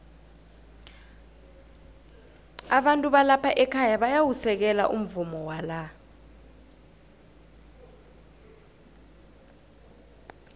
abantu balapha ekhaya bayawusekela umvumo wala